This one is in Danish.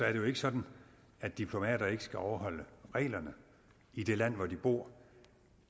er det jo ikke sådan at diplomater ikke skal overholde reglerne i de lande hvor de bor